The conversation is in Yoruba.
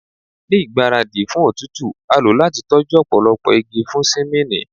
Ni igbaradi fun igba otutu a lo lati tọju ọpọlọpọ igi fun simini